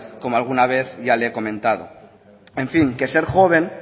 como alguna vez ya le he comentado en fin que ser joven